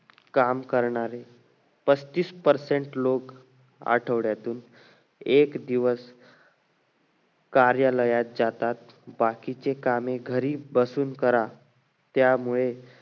काम करणारे पस्तिस percent लोक आठवड्यातून एक दिवस कार्यालयात जातात बाकीचे कामे घरी बसून करा त्यामुळे